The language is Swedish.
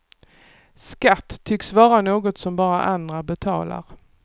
Skatt tycks vara något som bara andra betalar.